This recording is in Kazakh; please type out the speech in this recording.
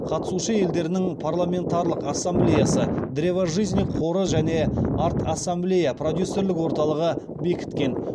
қатысушы елдерінің парламентаралық ассамблеясы древо жизни қоры және арт ассамблея продюсерлік орталығы бекіткен